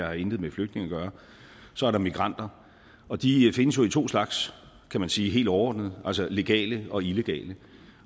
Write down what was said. har intet med flygtninge at gøre så er der migranter og de findes jo i to slags kan man sige helt overordnet altså legale og illegale